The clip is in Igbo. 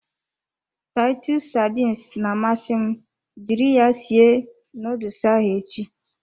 Titus sardines na-amasị m jiri ya sie nuduls ahụ echi.